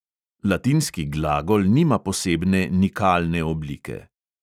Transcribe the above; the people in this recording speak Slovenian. Latinski glagol nima posebne nikalne oblike.